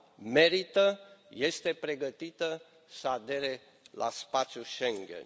merită, este pregătită să adere la spațiul Schengen.